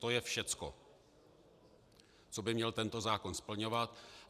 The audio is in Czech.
To je všecko, co by měl tento zákon splňovat.